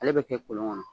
Ale bɛ kɛ kolon kɔnɔ